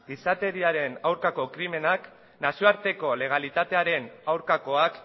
gizateriaren aurkako krimenak nazioarteko legalitatearen aurkakoak